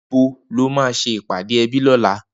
Nibó lò mà sé ipàdé èbí lòlá?